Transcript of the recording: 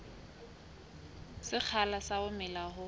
sekgahla sa ho mela ha